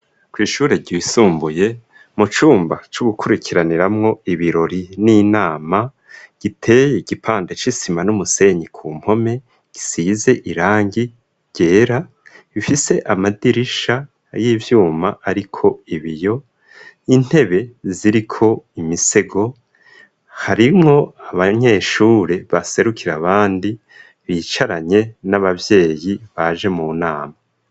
Kw'ishure ryisumbuye mu cumba co gukurikiraniramwo ibirori n'inama giteye igipande c'isima n'umusenyi ku mpome gisize irangi ryera ifise amadirisha y'ivyuma ariko ibiyo intebe ziriko imisego harimwo abanyeshure baserukira abandi bicaranye n'ababyeyi baje mu nama.